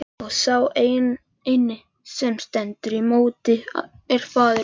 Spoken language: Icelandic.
Og sá eini sem stendur í móti er faðir minn!